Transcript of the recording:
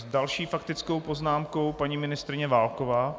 S další faktickou poznámkou paní ministryně Válková.